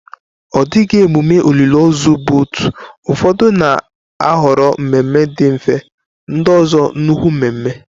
Ọ dịghị emume olili ozu bụ otu, ụfọdụ na-ahọrọ mmemme dị mfe, ndị ọzọ nnukwu mmemme.